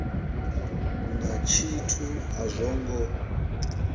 na tshithu a zwo ngo